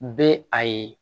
Bɛ a ye